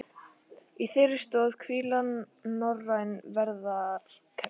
Á þeirri stoð hvíla norræn velferðarkerfi